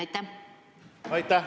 Aitäh!